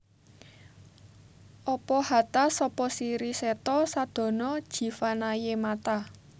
Apa hata sapa siri setha sadana jeevanaye Matha